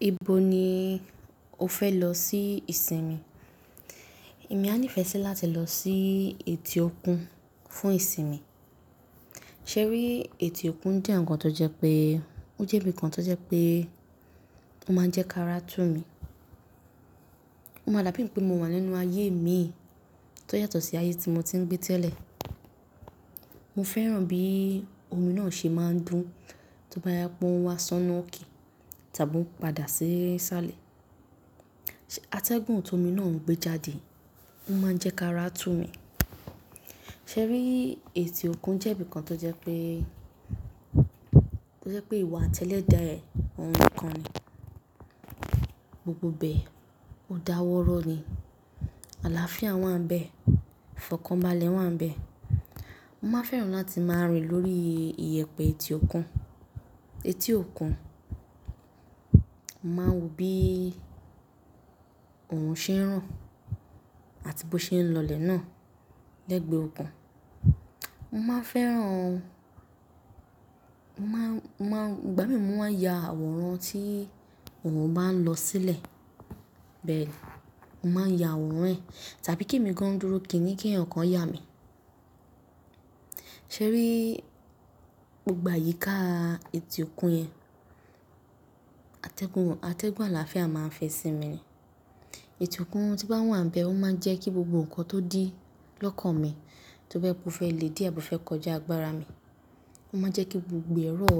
Ibo ni o fẹ lọ sí ìsinmi? Èmi a nífẹ̀ẹ́ sí láti lọ sí etí òkun fún ìsinmi. Ṣé rí, etí òkun jẹ́ ǹkan tó jẹ́ pé ó jẹ́ ibìkan tó jẹ́ pé ó máa ń jẹ́ kárá tù mi. Ó máa dàbí pé mo wà nínú ayé mii tó yàtọ̀ sí ayé tí mo ti ń gbé tẹ́lẹ̀. Mo fẹ́ràn bí omi náà ṣe máa ń dùn tó bá ya póun wá sọ́nà òke tàbí ó n padà sí sáàlẹ̀. Atẹ́gùn tó omi náà ń gbé jáde, ó máa ń jẹ́ kárá tù mi. Ṣé rí, etí òkun jẹ́ ibìkan tó jẹ́ pé, tó jẹ́ pé ìwo ati eledá ẹ́ ohun nikan ni. Gbogbo bẹ, ó dáwọ́rọ́ ni. Àlàáfíà wà nbẹ̀, fọkànbalẹ̀ wà nbẹ̀. Mo máa fẹ́ràn láti máa rìn lórí ìyẹ̀pẹ̀ etí òkun. Etí òkun, mo máa wo bí òòrùn ṣe ń ràn àti bó ṣe ń lọ lè náà lẹ́gbẹ́ òkun. Mo máa fẹ́ràn, mo máa, mo máa, ìgbà mií mo máa ya àwòrán tí òòrùn bá ń lọ sílẹ̀. Bẹ́ẹ̀ni, mo máa n ya àwòrán ẹ̀, tàbí kí èmi gan-an dúró, kín-ni kí eeyan kan ya mi. Ṣé rí, gbogbo àyíká etí òkun yẹn, atẹ́gùn, atẹ́gùn àlàáfíà máa ń fẹ sí mi ni. Etí òkun tí n bá wà nbẹ̀, ó máa ń jẹ́ kí gbogbo nǹkan tó dí lọ́kàn mi tó fẹ́ kú fẹ́ le, dí àbí fẹ́ kọjá agbára mi, ó máa jẹ́ kí gbogbo ẹ̀ rọ̀,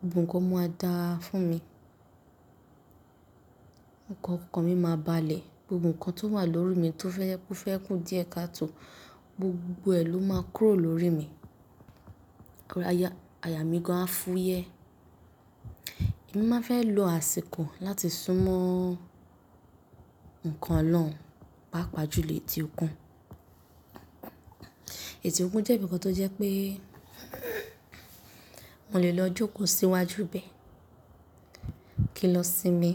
gbogbo nǹkan maa dáa fún mi. Òkan mi máa balẹ̀, gbogbo nǹkan tó wà lórí mi tó fẹ́ kú fẹ́ kú díẹ̀ kató, gbogbo ẹ̀ ló máa kúrò lórí mi. Ayà mí gan-an fúyẹ́. Èmi máa fẹ́ lo àsìkò láti súnmọ́ ǹkan olorun pàápàá jùlé etí òkun. Etí òkun jẹ́ ibìkan tó jẹ́ pé mò le lọ jókòó síwájú bẹ́ẹ̀ kí n lọ sinmi,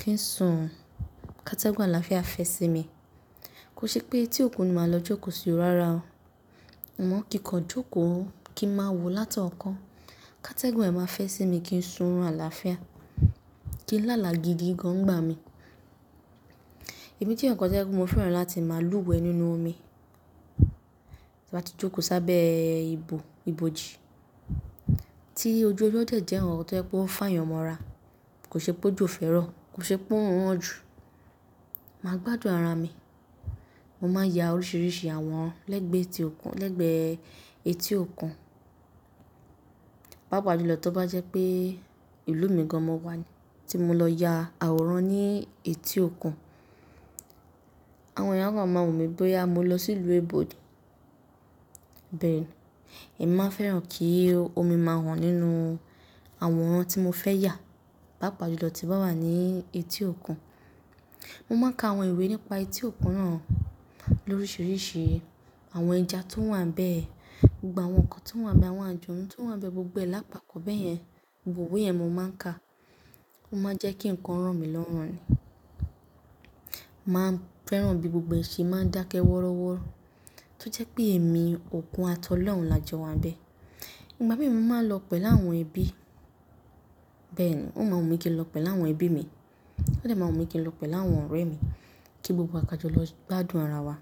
kí n sùn. Katẹ́gùn àlàáfíà fẹ́ sí mi. Kò ṣe pé etí òkun ni màá lọ jókòó sí òó rárá o. Amo kínkọ jókòó kí n máa wò látọ̀ọ́kan. Katẹ́gùn ẹ̀ máa fẹ́ sí mi kí n sùn run àlàáfíà, kí làálàa gidi gan-an nigbà mi. Èmi je ǹkan tó jẹ́ pé mo fẹ́ràn láti máa lúwẹ̀ẹ́ nínú omi tí mo bá ti jókòó sábẹ́ ibú, ibojì. Tí ojú ọjọ́ jẹ̀jẹ́ ọ̀ràn tó jẹ́ pé ó ń fá èèyàn mọ́ra, kò ṣe pé ójo fẹ́ rọ, kò ṣe pé órùn ran ju, màá gbádùn ara mi. Mo máa n ya oríṣiríṣi àwọn lẹ́gbẹ́ etí òkun, lẹ́gbẹ́ etí òkun, pàápàá jù lọ tí ó bá jẹ́ pé ìlú mi gan-an mo wà ni tí mo lọ ya àwòrán ní etí òkun. Àwọn èèyàn gan-an máa wo mí bóyá mo lọ sí ìlú eebo ni. Bẹ́ẹ̀ni, èmi máa fẹ́ràn kí omi máa hàn nínú àwọn ohun tí mo fẹ́ yà, pàápàá jù lọ tí n ba wà ní etí òkun. Mo máa n ka àwọn ìwé nípa etí òkun náà lóríṣiríṣi àwọn ẹja tó wà níbẹ̀, gbogbo àwọn nǹkan tó wà níbẹ̀, àwọn alujonnu tó wà níbẹ̀ gbogbo ẹ lápa pọ bẹ́ẹ̀ yẹn, gbogbo ìwé yẹn mo máa ń ka. Ó máa n jẹ́ kí nǹkan ràn mí lọ́rùn ni. Mo máa n fẹ́ràn bí gbogbo e máa ń dákẹ́ wọ́rọ́wọ́rọ́ tó jẹ́ pé èmi òkun ati olorùn lajọ wà níbẹ̀. Ìgbà mí mo máa n lọ pẹ̀lu áwọn ẹbí. Bẹ́ẹ̀ ni, ó máa n wù mí kí n lọ pẹ̀lu áwọn ẹbí mi. Ó de máa wù mí kí n lọ pẹ̀lu awọn ọ̀rẹ́ mi kí gbogbo wà kàjọlọ́ gbádùn ara wa.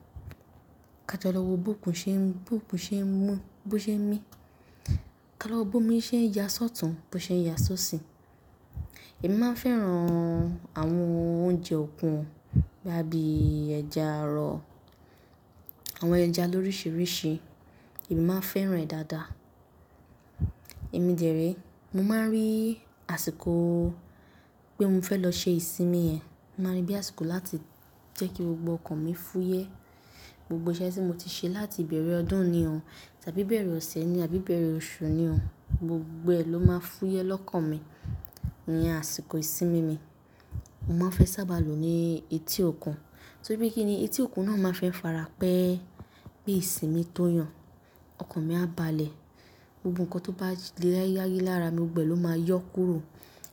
Ká jọ̀lọ́ wò bó òkun ṣe ń, bó òkun ṣe ń mú, bó ṣe ń mí. Ká lọ wò bó omi ṣe ń ya sọ́tùn, bó ṣe ń ya sóṣì. Èmi máa n fẹ́ràn àwọn oúnjẹ òkun bí i ẹja arọ, àwọn ẹja lóríṣiríṣi, èmi máa n fẹ́ràn rẹ̀ dáadáa. Èmi dẹ̀re, mo máa n rí àsìkò pé mo fẹ́ lọ ṣe ìsinmi yẹn, mo màá n rí bí àsìkò láti jẹ́ kí gbogbo ọkàn mi fúyẹ́. Gbogbo iṣẹ́ tí mo ti ṣe láti ìbẹ̀rẹ̀ ọdún ni o, tàbí ìbẹ̀rẹ̀ ọ̀sẹ̀ ni, àbí ìbẹ̀rẹ̀ oṣù ni o, gbogbo ẹ ló máa fúyẹ́ lọ́kàn mi iyen àsìkò ìsinmi mi. Mo máa fẹ́ sábà lo ní etí òkun tóri pe kíni etí òkun náà máa fẹ́ farapẹ́ bí ìsinmi tó yàn, ọkàn mi a balẹ̀. Gbogbo nǹkan tó bá le láyá lára mi gbogbo ẹ ló máa yọ́ kúrò.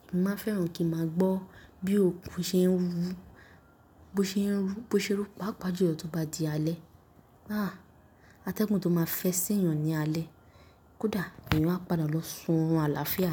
Èmi máa fẹ́ràn kí màá gbọ́ bí òkun ṣe ń wúru, bó ṣe ń rú, bó ṣe ń rú pàápàá jù lọ tí ó bá di alẹ́. Àáa, atẹ́gùn tó máa fẹ́ sí èèyàn ní alẹ́, kódà èeyan máa padà lọ sùn run àlàáfíà ni.